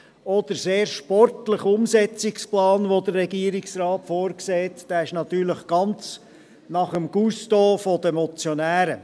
Auch der sehr sportliche Umsetzungsplan, den der Regierungsrat vorsieht, ist natürlich ganz nach dem Gusto der Motionäre.